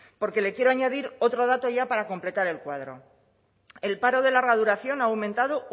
porque le quiero añadir otro dato ya para completar el cuadro el paro de larga duración ha aumentado